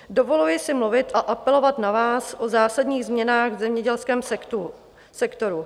Dovoluji si mluvit a apelovat na vás o zásadních změnách v zemědělském sektoru.